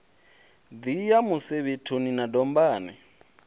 ḓi ya musevhethoni na dombani